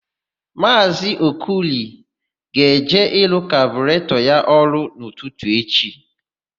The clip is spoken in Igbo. Maazị Okoli ga-eje ịrụ kaburetọ ya ọrụ n'ụtụtụ echi.